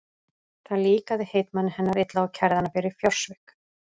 Það líkaði heitmanni hennar illa og kærði hana fyrir fjársvik.